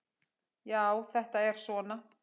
Já, þetta er svona.